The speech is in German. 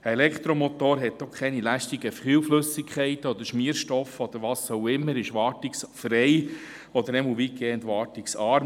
Ein Elektromotor hat auch keine lästigen Kühlflüssigkeiten, Schmierstoffe oder was auch immer, ist wartungsfrei oder zumindest weitgehend wartungsarm.